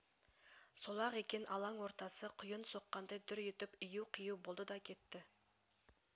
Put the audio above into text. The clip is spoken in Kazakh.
сол-ақ екен алаң ортасы құйын соққандай дүр етіп ию-қию болды да кетті